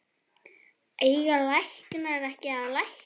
Eiga læknar ekki að lækna?